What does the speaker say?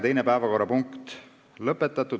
Teise päevakorrapunkti käsitlemine on lõpetatud.